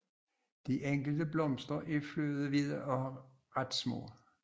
De enkelte blomster er flødehvide og ret små